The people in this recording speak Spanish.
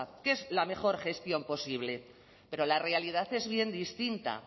que es la mejor gestión posible pero la realidad es bien distinta